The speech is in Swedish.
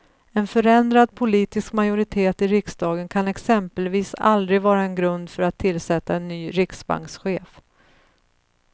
En förändrad politisk majoritet i riksdagen kan exempelvis aldrig vara en grund för att tillsätta en ny riksbankschef.